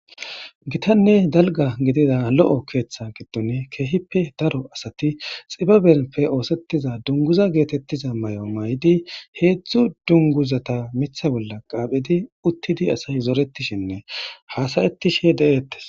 Gitanne dalga gidida lo'o ketha giddon keehippe Daro asat xibabeppe osetiza dunguza getetiza mayo mayid hezdzdu dunguzata mitha bolla qaphidi utid asay zoretishenne hasa'ishe de'etesi.